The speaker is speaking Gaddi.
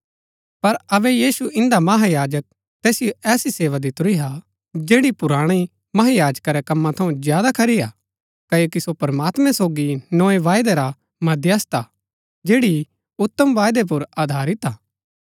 पर अबै यीशु इन्दा महायाजक तैसिओ ऐसी सेवा दितुरी हा जैड़ी पुराणी महायाजका रै कमा थऊँ ज्यादा खरी हा क्ओकि सो प्रमात्मैं सोगी नोए वायदै रा मध्यस्थ हा जैड़ी उतम वायदै पुर अधारित हा